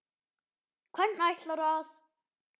Hvernig ætlarðu að.?